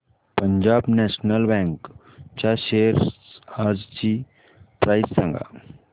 Punjab National Bank च्या shares आजची price सांगा